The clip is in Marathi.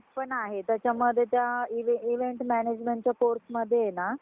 किशोरवयीन~ वायनांची~ किशोरवयीन मुलांची वाढ आणि अं विकास अं हा खूप गतीनी म्हणजे झपाटाने होततो.